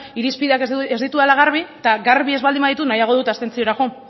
irizpideak ez ditudala garbi eta garbi ez baldin baditut nahiago dut abstentziora joan